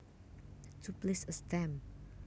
To place a stamp